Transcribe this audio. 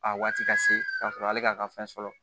A waati ka se ka sɔrɔ ale k'a ka fɛn sɔrɔ